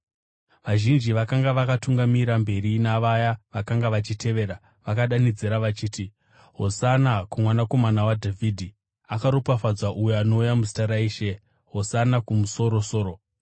Vazhinji vakanga vakatungamira mberi navaya vakanga vachitevera vakadanidzira vachiti: “Hosana kuMwanakomana waDhavhidhi!” “Akaropafadzwa uyo anouya muzita raIshe!” “Hosana kumusoro-soro!”